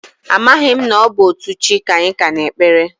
Amaghị m na ọ bụ otu chi ka anyị ka na-ekpere.